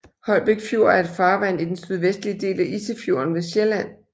Holbæk Fjord er et farvand i den sydvestlige del af Isefjorden ved Sjælland